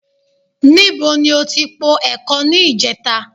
Níbo ni o ti po ẹ̀kọ ní ìjẹta?